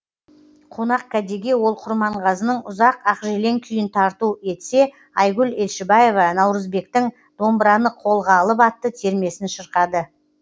қонақкәдеге ол құрманғазының ұзақ ақжелең күйін тарту етсе айгүл елшібаева наурызбектің домбыраны қолға алып атты термесін шырқады